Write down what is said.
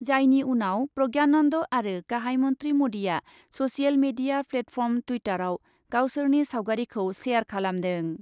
जायनि उनाव प्रज्ञानन्द आरो गाहाइ मन्थ्रि मदिआ ससियेल मिडिया प्लेटफर्म टुइटारआव गावसोरनि सावगारिखौ शेयार खालामदों।